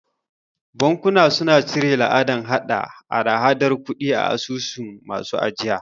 Bankuna suna cire la'adan hada hadar kudi a asusun masu ajiya.